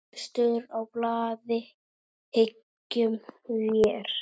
Efstur á blaði, hyggjum vér.